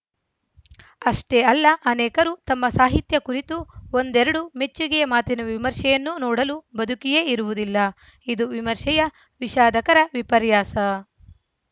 ಅಷ್ಟೇ ಅಲ್ಲ ಅನೇಕರು ತಮ್ಮ ಸಾಹಿತ್ಯ ಕುರಿತು ಒಂದೆರಡು ಮೆಚ್ಚುಗೆಯ ಮಾತಿನ ವಿಮರ್ಶೆಯನ್ನು ನೋಡಲು ಬದುಕಿಯೇ ಇರುವುದಿಲ್ಲ ಇದು ವಿಮರ್ಶೆಯ ವಿಷಾದಕರ ವಿಪರ್ಯಾಸ